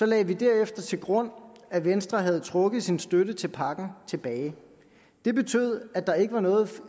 lagde vi derefter til grund at venstre havde trukket sin støtte til pakken tilbage det betød at der ikke var noget